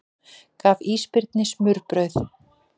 Gaf ísbirni smurbrauð